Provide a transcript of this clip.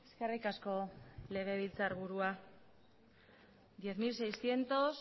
eskerrik asko legebiltzarburua diez mil seiscientos